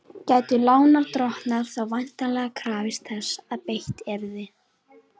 Gætu lánardrottnar þá væntanlega krafist þess að beitt yrði